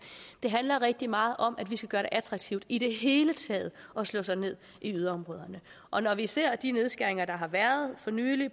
handler rigtig meget om at vi skal gøre det attraktivt i det hele taget at slå sig ned i yderområderne og når vi ser de nedskæringer der for nylig